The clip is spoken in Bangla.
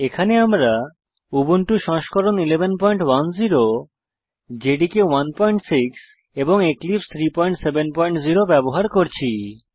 এখানে আমরা উবুন্টু সংস্করণ 1110 জেডিকে 16 এবং এক্লিপসে 370 ব্যবহার করছি